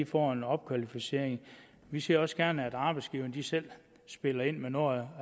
får en opkvalificering vi ser også gerne at arbejdsgiverne selv spiller ind med noget